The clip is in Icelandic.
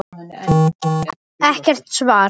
Ekkert svar.